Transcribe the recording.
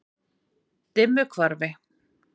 Dimmuhvarfi